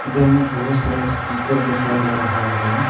इधर में बहुत सारा स्पीकर दिखाई दे रहा है।